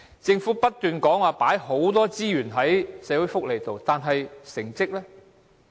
政府不斷說投放很多資源在社會福利上，但成績如何？